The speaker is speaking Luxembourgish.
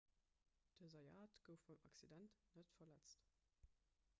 den zayat gouf beim accident net verletzt